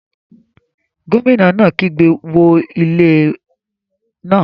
Gómìnà náà kígbe 'wó ilé náà'